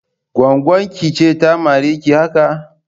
Gwaggon ki ce ta mare ki haka?